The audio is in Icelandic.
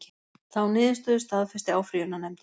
Þá niðurstöðu staðfesti áfrýjunarnefndin